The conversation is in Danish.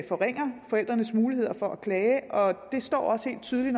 forringer forældrenes muligheder for at klage det står også helt tydeligt